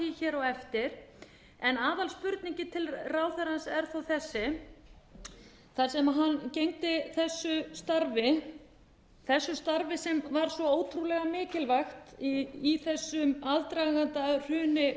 svara því á eftir en aðalspurningin til ráðherrans er þó þessi þar sem hann gegndi þessu starfi þessu starfi sem var svo ótrúlega mikilvægt í þessu hruni